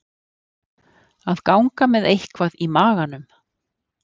Að ganga með eitthvað í maganum